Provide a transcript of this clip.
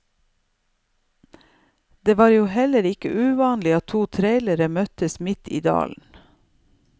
Det var jo heller ikke uvanlig at to trailere møttes midt i dalen.